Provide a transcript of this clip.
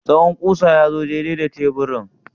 Tsawon ƙusa ya zo daidai da teburin?